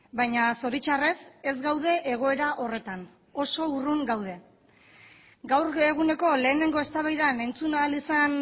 baina zoritxarrez ez gaude egoera horretan oso urrun gaude gaur eguneko lehenengo eztabaidan entzun ahal izan